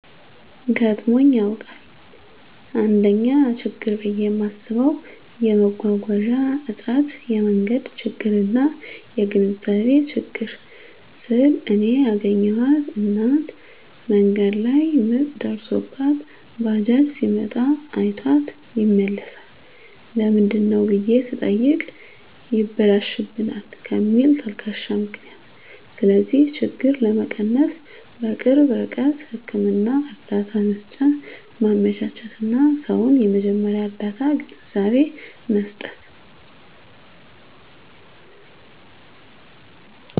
ገጥሞኝ ያዉቃል: 1ኛ :ችግር ብየ ማስበዉ የመጓጓዣ እጥረት የመንገድ ችግርና : (የግንዛቤ ችግር) ስል እኔ ያገኘኋት እናት መንገድ ላይ ምጥ ደርሶባት ባጃጅ ሲመጣ አይቷት ይመለሳል ለምንድነው ብየ ስጠይቅ ይበላሽብናል ከሚል ተልካሻ ምክንያት ስለዚህ ችግር ለመቀነስ_በቅርብ ርቀት ህክምና እርዳታ መሰጫ ማመቻቸትና: ሰዉን የመጀመርያ ርዳታ ግንዛቤ መስጠት።